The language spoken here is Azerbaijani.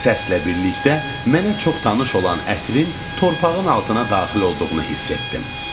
Səslə birlikdə mənə çox tanış olan ətrin torpağın altına daxil olduğunu hiss etdim.